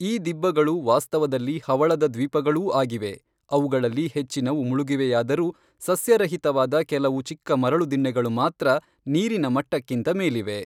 ಈ ದಿಬ್ಬಗಳು ವಾಸ್ತವದಲ್ಲಿ ಹವಳದದ್ವೀಪಗಳೂ ಆಗಿವೆ, ಅವುಗಳಲ್ಲಿ ಹೆಚ್ಚಿನವು ಮುಳುಗಿವೆಯಾದರೂ, ಸಸ್ಯರಹಿತವಾದ ಕೆಲವು ಚಿಕ್ಕ ಮರಳುದಿಣ್ಣೆಗಳು ಮಾತ್ರ ನೀರಿನ ಮಟ್ಟಕ್ಕಿಂತ ಮೇಲಿವೆ.